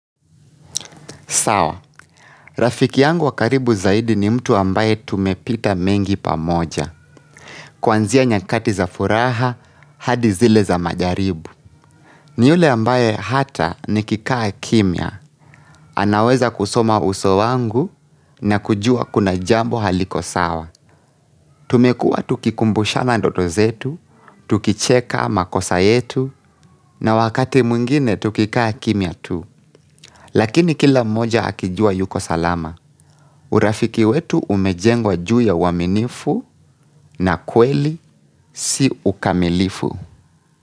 Sawa, rafiki yangu wa karibu zaidi ni mtu ambaye tumepita mengi pamoja. Kuanzia nyakati za furaha, hadi zile za majaribu. Ni ule ambaye hata nikikaa kimya. Anaweza kusoma uso wangu na kujua kuna jambo haliko sawa. Tumekuwa tukikumbushana ndoto zetu, tukicheka makosa yetu na wakati mwingine tukikaa kimya tu. Lakini kila mmoja akijua yuko salama. Urafiki wetu umejengwa juu ya uaminifu na kweli si ukamilifu.